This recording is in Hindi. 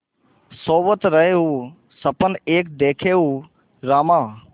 सोवत रहेउँ सपन एक देखेउँ रामा